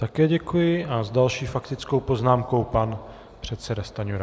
Také děkuji a s další faktickou poznámkou pan předseda Stanjura.